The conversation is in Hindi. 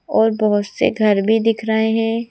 और बहोत से घर भी दिख रहे हैं।